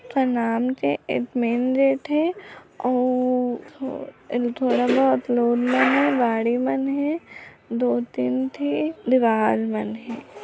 एक main gate हे आऊ ऊ गाड़ी मन हे दो तीन ठिन दराज मन हे।